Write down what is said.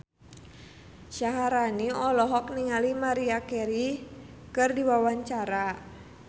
Syaharani olohok ningali Maria Carey keur diwawancara